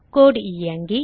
கோடு இயங்கி